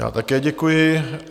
Já také děkuji.